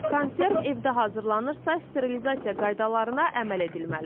Konserv evdə hazırlanırsa, sterilizasiya qaydalarına əməl edilməlidir.